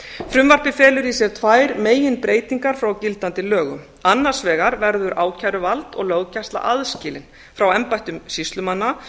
frumvarpið felur í sér tvær meginbreytingar frá gildandi lögum annars vegar verður ákæruvald og löggæsla aðskilin frá embættum sýslumanna